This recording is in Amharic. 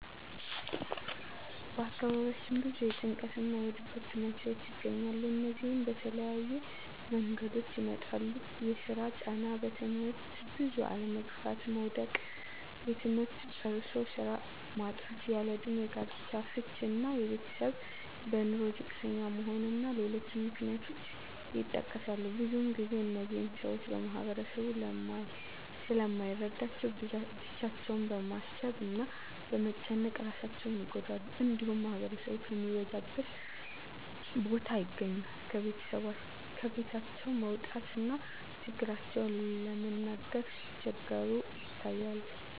በአካባቢያችን ብዙ የጭንቀት እና የድብርት መንስሄዎች ይኖራሉ። እነዚህም በተለያየ መንገዶች ይመጣሉ የስራ ጫና; በትምህርት ብዙ አለመግፋት (መዉደቅ); ትምህርት ጨርሶ ስራ ማጣት; ያለእድሜ ጋብቻ; ፍች እና የቤተሰብ በኑሮ ዝቅተኛ መሆን እና ሌሎችም ምክንያቶች ይጠቀሳሉ። ብዙ ግዜ እነዚህን ሰወች ማህበረሰቡ ስለማይረዳቸው ብቻቸውን በማሰብ እና በመጨነቅ እራሳቸውን ይጎዳሉ። እንዲሁም ማህበረሰብ ከሚበዛበት ቦታ አይገኙም። ከቤታቸውም ለመውጣት እና ችግራቸውን ለመናገር ሲቸገሩ ይታያሉ።